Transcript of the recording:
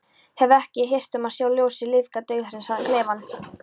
Hef ekki hirt um að sjá ljósið lífga dauðhreinsaðan klefann.